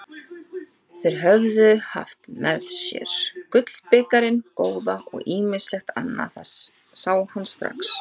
Þeir höfðu haft með sér gullbikarinn góða og ýmislegt annað, það sá hann strax.